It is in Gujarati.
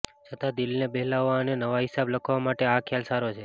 છતાં દિલને બહેલાવવા અને નવા હિસાબ લખવા માટે આ ખ્યાલ સારો છે